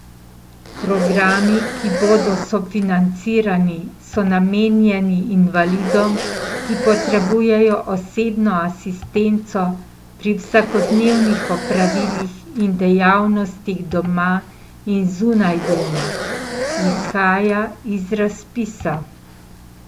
Programi, ki bodo sofinancirani, so namenjeni invalidom, ki potrebujejo osebno asistenco pri vsakodnevnih opravilih in dejavnostih doma in zunaj doma, izhaja iz razpisa.